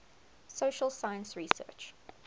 social science research